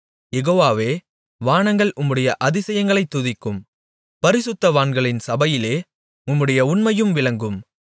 யெகோவாவே வானங்கள் உம்முடைய அதிசயங்களைத் துதிக்கும் பரிசுத்தவான்களின் சபையிலே உம்முடைய உண்மையும் விளங்கும்